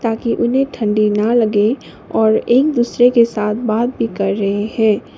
ताकि उन्हें ठंडी ना लगे और एक दूसरे के साथ बात भी कर रहे हैं।